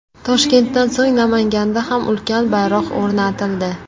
Toshkentdan so‘ng Namanganda ham ulkan bayroq o‘rnatildi.